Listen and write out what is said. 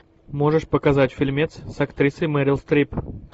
можешь показать фильмец с актрисой мерил стрип